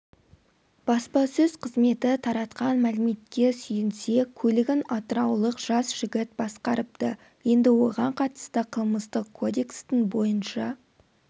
баспасөз қызметі таратқан мәліметке сүйенсек көлігін атыраулық жас жігіт басқарыпты енді оған қатысты қылмыстық кодекстің бойынша